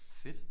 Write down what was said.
Fedt!